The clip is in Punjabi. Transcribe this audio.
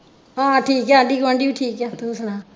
ਹਾਂ ਠੀਕ ਆ ਆਂਢੀ ਗੁਵਾਂਡੀ ਵੀ ਠੀਕ ਆ ਤੂੰ ਸੁਣਾ